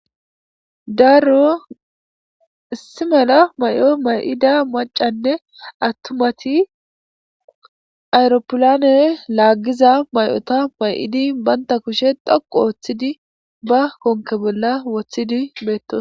daaro issi mala may7o may7ida macanne attumati ayropilaney laaggiza may7ota may7idi baynta kushe dhoqu ooththidi ba konke bolla woththidi beettos